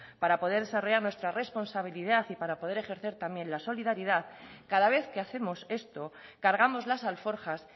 para poder desarrollar nuestra responsabilidad y para poder ejercer también la solidaridad cada vez que hacemos esto cargamos las alforjas